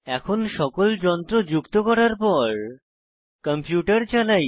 এখন সকল যন্ত্র যুক্ত করার পর কম্পিউটার চালাই